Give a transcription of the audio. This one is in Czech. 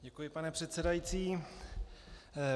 Děkuji, pane předsedající.